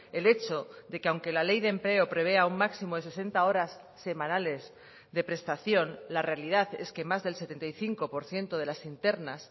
el hecho de que aunque la ley de empleo prevea un máximo de sesenta horas semanales de prestación la realidad es que más del setenta y cinco por ciento de las internas